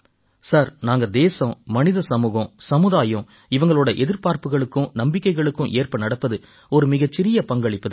sir நாங்க தேசம் மனித சமூகம் சமுதாயம் இவங்களோட எதிர்பார்ப்புக்களுக்கும் நம்பிக்கைகளுக்கும் ஏற்ப நடப்பது ஒரு மிகச் சிறிய பங்களிப்புத் தான்